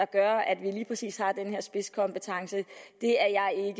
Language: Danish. gør at vi lige præcis har den her spidskompetence